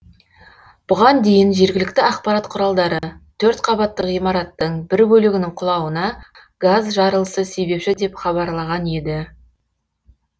бұған дейін жергілікті ақпарат құралдары төртқабатты ғимараттың бір бөлігінің құлауына газ жарылысы себепші деп хабарлаған еді